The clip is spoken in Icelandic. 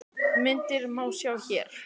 Myndirnar má sjá hér